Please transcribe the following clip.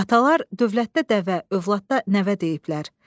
Atalar dövlətdə dəvə, övladda nəvə deyiblər.